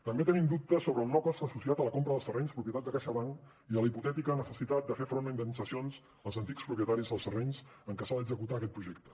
també tenim dubtes sobre el no cost associat a la compra dels terrenys propietat de caixabank i a la hipotètica necessitat de fer front a indemnitzacions als antics propietaris dels terrenys en què s’ha d’executar aquest projecte